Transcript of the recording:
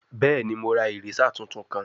Bẹẹni, Mo ra eraser tuntun kan